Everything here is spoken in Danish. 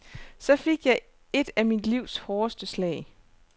Så fik jeg et af mit livs hårdeste slag.